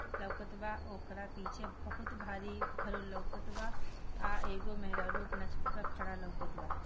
लोकत बा ओकरा पीछे बहोत भारी घर लोकत बा आ एगो मेहरारू अपना छत पे खड़ा लोकत बा।